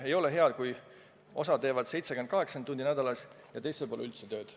Ei ole hea, kui osa teeb 70–80 tundi nädalas ja teistel pole üldse tööd.